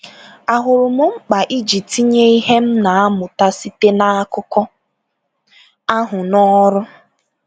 Ahụrụ m mkpa iji tinye ihe m na-amụta site n’akụkọ ahụ n’ọrụ.